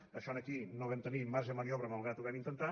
amb això aquí no vam tenir marge de maniobra malgrat que ho vam intentar